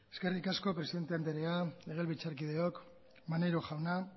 eskerrik asko presidente andrea legebiltzarkideok maneiro jauna